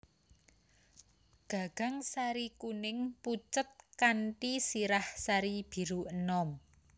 Gagang sari kuning pucet kanthi sirah sari biru enom